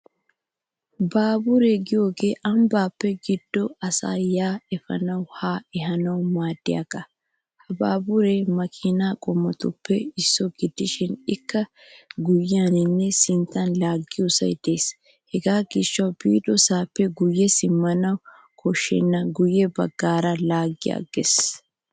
Baaburiya giyooge ambbaa giddon asaa yaa efanawunne haa ehanawu maaddiyaagaa. Ha baaburee maakiina qommotippe issuwa gidishin ikka guyyeniinne sinttan laagiyosay de'es hegaa gishshawu biidosaappe guyye simmanwu yuushshenna guyye baggaara laaggi agges